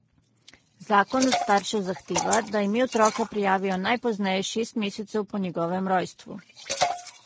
Zakon od staršev zahteva, da ime otroka prijavijo najpozneje šest mesecev po njegovem rojstvu.